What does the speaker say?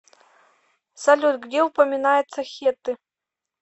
салют где упоминается хетты